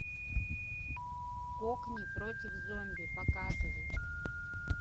кокни против зомби показывай